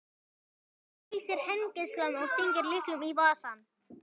Hann læsir hengilásnum og stingur lyklinum í vasann.